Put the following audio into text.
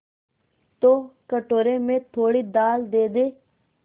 तो कटोरे में थोड़ी दाल दे दे